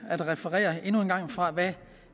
at referere endnu en gang fra hvad